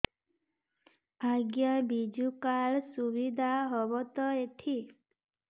ଆଜ୍ଞା ବିଜୁ କାର୍ଡ ସୁବିଧା ହବ ତ ଏଠି